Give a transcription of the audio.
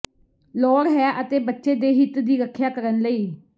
ਲੋੜ ਹੈ ਅਤੇ ਬੱਚੇ ਦੇ ਹਿੱਤ ਦੀ ਰੱਖਿਆ ਕਰਨ ਲਈ